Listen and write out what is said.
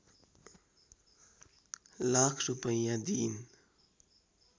लाख रूपैयाँ दिइन्